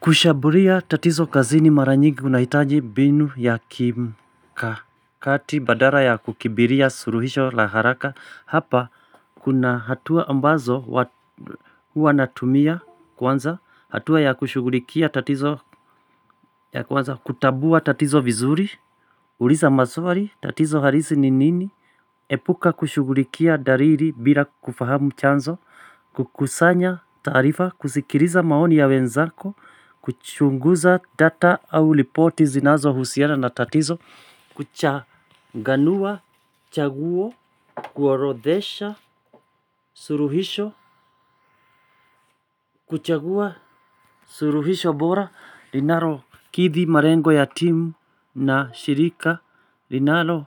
Kushambulia tatizo kazini mara nyingi unahitaji mbinu ya kimkakati badala ya kukimbilia suluhisho la haraka. Hapa kuna hatua ambazo huwa natumia kwanza. Hatua ya kushughulikia tatizo ya kwanza kutambua tatizo vizuri. Uliza maswali tatizo halisi ni nini. Epuka kushughulikia dalili bila kufahamu chanzo. Kukusanya taarifa kusikiliza maoni ya wenzako. Kuchunguza data au ripoti zinazohusiana na tatizo. Kuchanganua, chaguo, kuorodhesha, suluhisho. Kuchagua, suluhisho bora linalokithi, malengo ya timu na shirika linaro